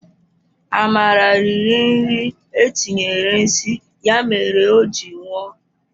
Amara riri nri etinyere nsi ya mere o ji nwụọ